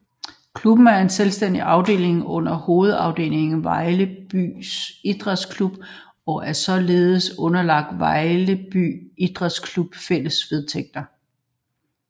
Klubben er en selvstændig afdeling under hovedafdelingen Vejlby Idræts Klub og er således underlagt Vejlby Idræts Klubs fælles vedtægter